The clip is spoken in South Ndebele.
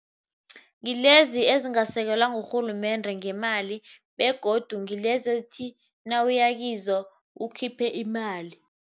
Ngilezi ezingasekelwa ngurhulumende ngemali begodu ngilezi ezithi nawuya kizo ukhiphe imali.